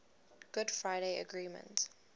good friday agreement